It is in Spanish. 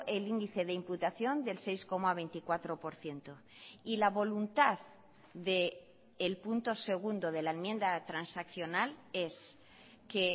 el índice de imputación del seis coma veinticuatro por ciento y la voluntad del punto segundo de la enmienda transaccional es que